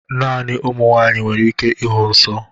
Naanị ụmụ nwanyị nwere ike ịhụ nsọ